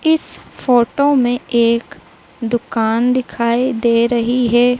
इस फोटो में एक दुकान दिखाई दे रही हैं।